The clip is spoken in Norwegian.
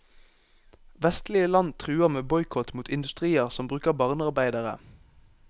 Vestlige land truer med boikott mot industrier som bruker barnearbeidere.